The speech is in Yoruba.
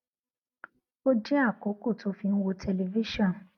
ó dín àkókò tó fi ń wo tẹlifíṣòn